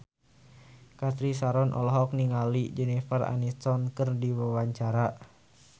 Cathy Sharon olohok ningali Jennifer Aniston keur diwawancara